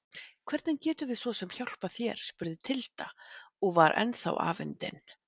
Hvernig getum við svo sem hjálpað þér spurði Tilda og var ennþá afundin.